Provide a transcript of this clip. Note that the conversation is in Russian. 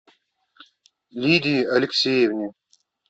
лидии алексеевне